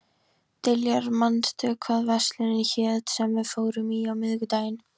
Diljar, manstu hvað verslunin hét sem við fórum í á miðvikudaginn?